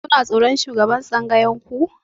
Kuna tsoron shugaban tsangayar ku?